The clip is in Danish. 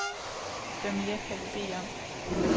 Hvad mere kan vi bede om.